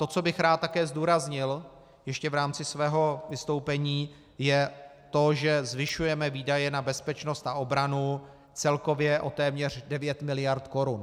To, co bych rád také zdůraznil ještě v rámci svého vystoupení, je to, že zvyšujeme výdaje na bezpečnost a obranu celkově o téměř 9 miliard korun.